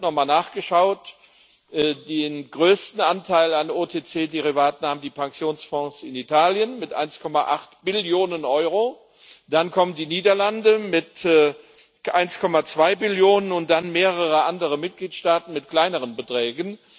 Ich habe nochmal nachgeschaut Den größten Anteil an OTC Derivaten haben die Pensionsfonds in Italien mit 1,8 Billionen Euro, dann kommen die Niederlande mit 1,2 Billionen und dann mehrere andere Mitgliedstaaten mit kleineren Beträgen.